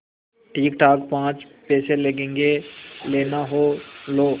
ठीकठाक पाँच पैसे लगेंगे लेना हो लो